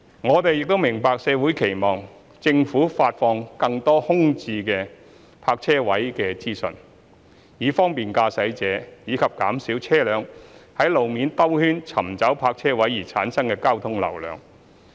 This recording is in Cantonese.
我們亦明白社會期望政府發放更多空置泊車位資訊，以方便駕駛者，以及減少車輛在路面兜圈尋找泊車位而產生的交通流量。